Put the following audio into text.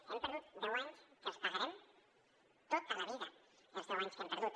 hem perdut deu anys els pagarem tota la vida els deu anys que hem perdut